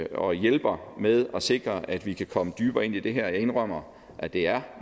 og hjælper med at sikre at vi kan komme dybere ind i det her jeg indrømmer at det er